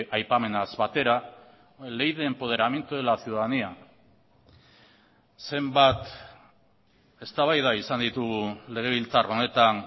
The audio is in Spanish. aipamenaz batera ley de empoderamiento de la ciudadanía zenbat eztabaida izan ditugu legebiltzar honetan